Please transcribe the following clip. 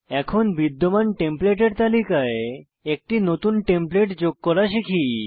এখন বিদ্যমান টেমপ্লেটের তালিকায় একটি নতুন টেমপ্লেট যোগ করা শিখি